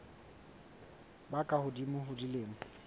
ba ka hodimo ho dilemo